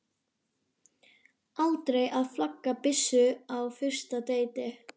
Aldrei að flagga byssu á fyrsta deiti.